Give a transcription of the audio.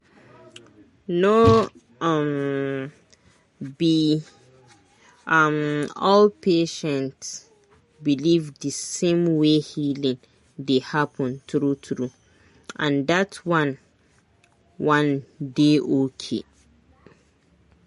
no um be um all patient believe the same way healing dey happen true true—and that one one dey okay.